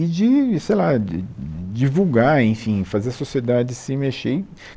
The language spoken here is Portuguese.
e de sei lá divulgar, enfim, fazer a sociedade se mexer.